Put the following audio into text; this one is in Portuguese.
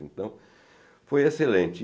Então, foi excelente.